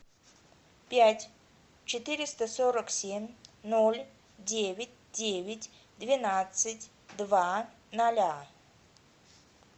пять четыреста сорок семь ноль девять девять двенадцать два ноля